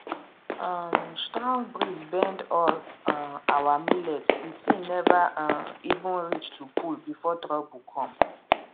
um strong breeze bend all um our millet the thing never um even reach to pull before trouble come